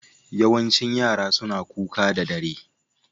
Yawancin yara suna kuka da dare.